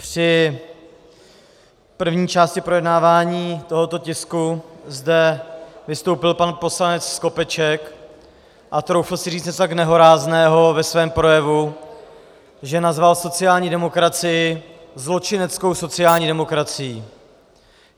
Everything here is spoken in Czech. Při první části projednávání tohoto tisku zde vystoupil pan poslanec Skopeček a troufl si říct něco tak nehorázného ve svém projevu, že nazval sociální demokracii zločineckou sociální demokracií.